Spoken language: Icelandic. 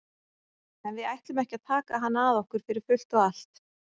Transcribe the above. En við ætlum ekki að taka hann að okkur fyrir fullt og allt.